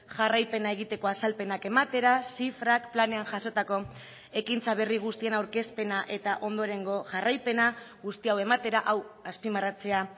jarraipena egiteko azalpenak ematera zifrak planean jasotako ekintza berri guztien aurkezpena eta ondorengo jarraipena guzti hau ematera hau azpimarratzea